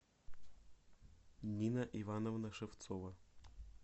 нина ивановна шевцова